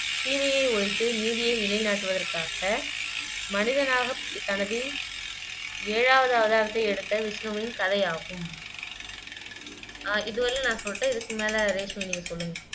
தீமையை ஒழித்து நீதியை நிலை நாட்டுவதற்காக மனிதனாகத் தனது ஏழாவது அவதாரத்தை எடுத்த விஷ்ணுவின் கதையாகும் ஆஹ் இது வரையிலும் நான் சொல்லிட்டேன் இதுக்கு மேல ரேஷ்மி நீங்க சொல்லுங்க